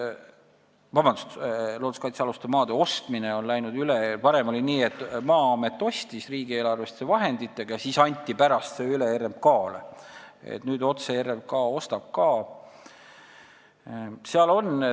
Nii et looduskaitsealuste maade ostmine on üle läinud: kui varem oli nii, et Maa-amet ostis maid riigieelarveliste vahenditega ja andis need pärast RMK-le üle, siis nüüd ostab RMK neid otse ka.